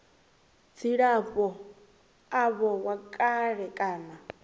dzilafho avho wa kale kana